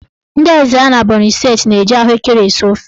Ndị Ezza n'Ebonyi steeti na-eji ahụekere esi ofe.